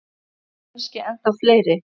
Kannski ennþá fleiri.